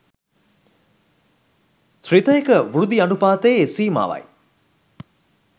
ශ්‍රිතයක වෘද්ධි අනූපාතයේ සීමාවයි.